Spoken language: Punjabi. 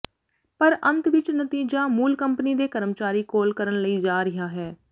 ਪਰ ਅੰਤ ਵਿੱਚ ਨਤੀਜਾ ਮੂਲ ਕੰਪਨੀ ਦੇ ਕਰਮਚਾਰੀ ਕੋਲ ਕਰਨ ਲਈ ਜਾ ਰਿਹਾ ਹੈ